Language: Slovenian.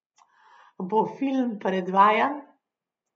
Bo film predvajan?